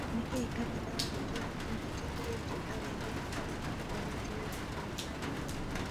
Nĩ kĩĩ kanitha wa gatoreki metikĩrĩtie arũme aria mahikanĩtie gũtũĩka mabandĩrĩ ?